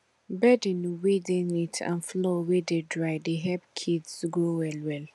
bedding wey dey neat and floor wey dey dry dey help kids grow well well